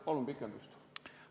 Palun ajapikendust!